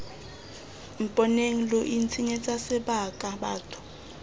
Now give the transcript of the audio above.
mponeng lo itshenyetsa sebaka batho